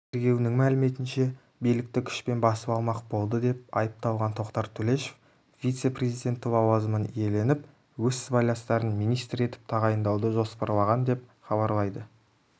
тергеуінің мәліметінше билікті күшпен басып алмақ болдыдеп айыпталған тоқтар төлешов вице-президенті лауазымын иеленіп өз сыбайластарын министр етіп тағайындауды жоспарлаған деп хабарлайды